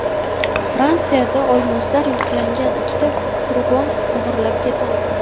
Fransiyada olmoslar yuklangan ikkita furgon o‘g‘irlab ketildi.